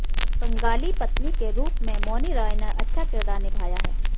बंगाली पत्नी के रूप में मॉनी राय ने अच्छा किरदार निभाया है